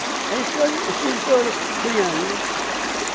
Aí eles foram os filhos foram criando, né?